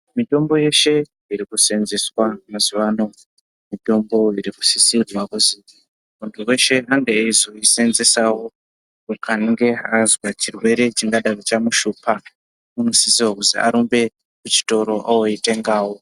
Mitombo yeshe irikuseenzeswa mazuwano mitombo ikusisirwawo kuzwi muntu weshe ange izoisenzesawo paanenge azwa chirwere chingadaro chamushupa unosisa kuzii arumbe kuchitoro oitengawo.